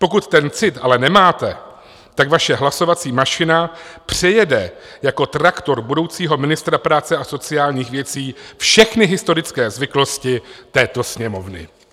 Pokud ten cit ale nemáte, tak vaše hlasovací mašina přejede jako traktor budoucího ministra práce a sociálních věcí všechny historické zvyklosti této Sněmovny.